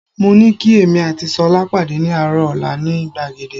Mo ní kí èmi àti Ṣọlá pàdé ní àárọ̀ ọ̀la ní gbàgede